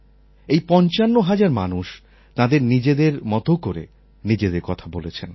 এই পঞ্চান্ন হাজার মানুষ তাঁদের নিজেদের মত করে নিজেদের কথা বলেছেন